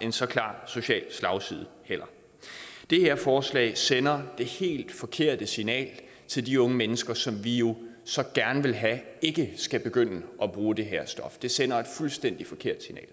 en så klar social slagside det her forslag sender det helt forkerte signal til de unge mennesker som vi jo så gerne vil have ikke skal begynde at bruge det her stof det sender et fuldstændig forkert signal